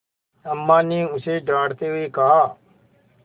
अम्मा ने उसे डाँटते हुए कहा